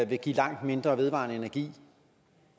vil give langt mindre vedvarende energi